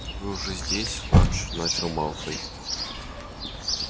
вы уже здесь фадж начал малфой